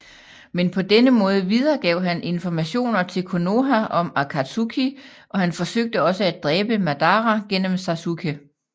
Men på denne måde videregav han informationer til Konoha om Akatsuki og han forsøgte også at dræbe Madara gennem Sasuke